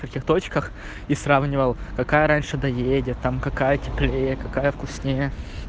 каких точках и сравнивал какая раньше доедет там какая теплее какая вкуснее